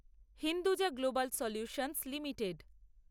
Hinduja global solutions limited